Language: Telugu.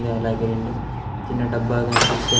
అలాగే రెండు చిన్న డబ్బా కన్పిస్తూనే--